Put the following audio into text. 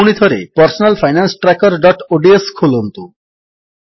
ପୁଣିଥରେ personal finance trackerଓଡିଏସ ଖୋଲନ୍ତୁ